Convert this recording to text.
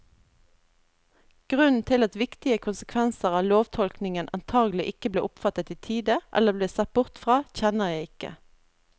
Grunnen til at viktige konsekvenser av lovtolkningen antagelig ikke ble oppfattet i tide eller ble sett bort fra, kjenner jeg ikke.